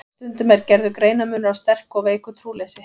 Stundum er gerður greinarmunur á sterku og veiku trúleysi.